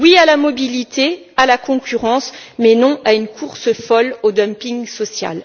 Oui à la mobilité et à la concurrence, mais non à une course folle au dumping social.